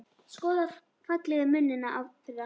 Skoða fallegu munina þeirra.